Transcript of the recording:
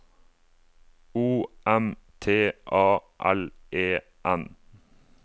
O M T A L E N